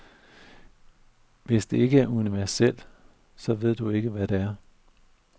Hvis det ikke er universelt, så ved jeg ikke, hvad det er.